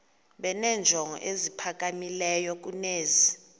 benenjongo eziphakamileyo kunezi